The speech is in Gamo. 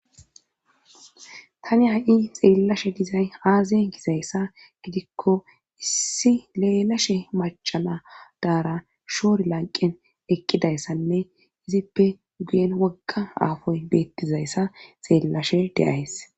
tani ha7i xeellashe dizay aaziyen gizayssa gidikko issi leelashe macana daara shoor lanqen eqqidayssanne izippe guyen wogga aafoy beettizayssa xeellashe deyays